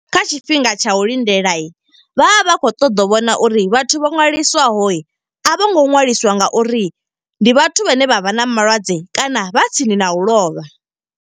Kha tshifhinga tsha u lindela, vha vha kho ṱoḓa u vhona uri vhathu vho nwaliswaho, a vho ngo ṅwaliswa nga uri ndi vhathu vhane vha vha na malwadze kana vha tsini na u lovha.